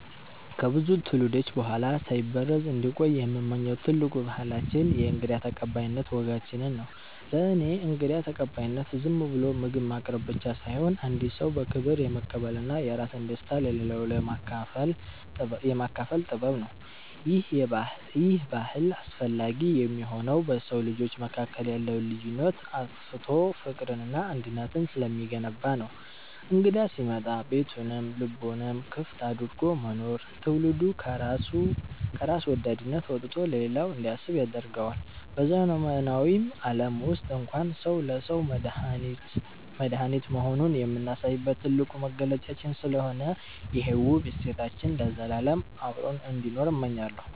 ከብዙ ትውልዶች በኋላ ሳይበረዝ እንዲቆይ የምመኘው ትልቁ ባህላችን የእንግዳ ተቀባይነት ወጋችንን ነው። ለእኔ እንግዳ ተቀባይነት ዝም ብሎ ምግብ ማቅረብ ብቻ ሳይሆን፣ አንድን ሰው በክብር የመቀበልና የራስን ደስታ ለሌላው የማካፈል ጥበብ ነው። ይሄ ባህል አስፈላጊ የሚሆነው በሰው ልጆች መካከል ያለውን ልዩነት አጥፍቶ ፍቅርንና አንድነትን ስለሚገነባ ነው። እንግዳ ሲመጣ ቤቱንም ልቡንም ክፍት አድርጎ መኖር፣ ትውልዱ ከራስ ወዳድነት ወጥቶ ለሌላው እንዲያስብ ያደርገዋል። በዘመናዊው ዓለም ውስጥ እንኳን ሰው ለሰው መድኃኒት መሆኑን የምናሳይበት ትልቁ መገለጫችን ስለሆነ፣ ይሄ ውብ እሴታችን ለዘላለም አብሮን እንዲኖር እመኛለሁ።